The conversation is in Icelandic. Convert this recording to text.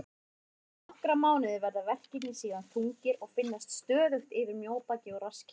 Eftir nokkra mánuði verða verkirnir síðan þungir og finnast stöðugt yfir mjóbaki og rasskinnum.